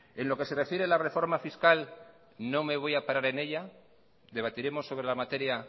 en lo que se refiere a la reforma fiscal no me voy a parar en ella debatiremos sobre la materia